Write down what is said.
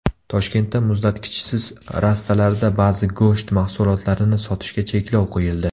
Toshkentda muzlatkichsiz rastalarda ba’zi go‘sht mahsulotlarini sotishga cheklov qo‘yildi.